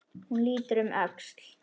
Hún lítur um öxl.